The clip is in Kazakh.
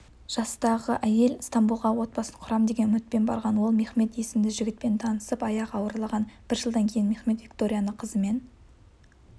жастағы әйел стамбулға отбасын құрам деген үмітпен барған ол мехмет есімді жігітпен танысып аяғы ауырлаған бір жылдан кейін мехмет викторияны қызымен